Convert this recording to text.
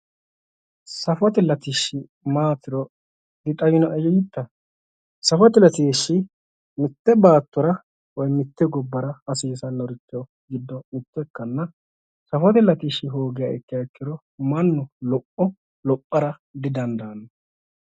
safote latishshi maatiro anera dixawinoe yiitta safote latishshi mitte baattora mitte gobbara hasiissanori giddo mitto ikanna safote latishshi hoogiha ikkiro mannu lopho lophara didandaanno